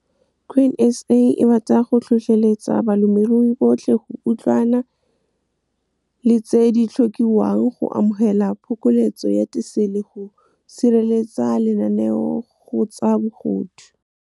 Grain SA e rata go tlhotlheletsa balemirui botlhe go utlwana le tse di tlhokiwang go amogela phokoletso ya tisele, go sireletsa lenaneo go tsa bogodu. Grain SA e rata go tlhotlheletsa balemirui botlhe go utlwana le tse di tlhokiwang go amogela phokoletso ya tisele, go sireletsa lenaneo go tsa bogodu.